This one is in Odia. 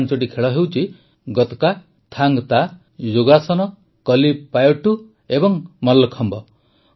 ଏହି ପାଂଚଟି ଖେଳ ହେଉଛି ଗତକା ଥାଙ୍ଗ୍ ତା ଯୋଗାସନ କଲିପାୟଟ୍ଟୁ ଏବଂ ମଲ୍ଲଖମ୍ବ